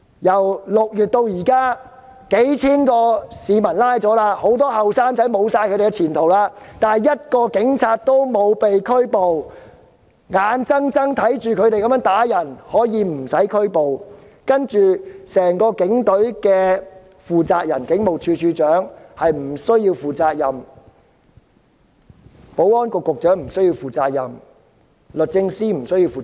由6月至今，警方已拘捕數千名市民，很多年青人失去前途，卻沒有任何一名警員遭到拘捕，大家眼睜睜看着他們打人，卻不會被捕，整個警隊的負責人，即警務處處長不須負上任何責任，保安局局長及律政司司長亦無須負責。